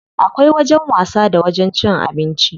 Akwai wajen wasa da wajen cin abinci.